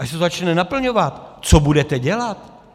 Až se to začne naplňovat, co budete dělat?